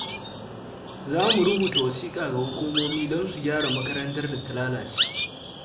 Za mu rubuta wasiƙa ga hukumomi don su gyara makarantar da ta lalace.